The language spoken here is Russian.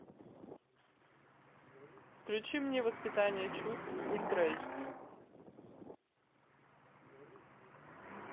включи мне воспитание чувств ультра эйч ди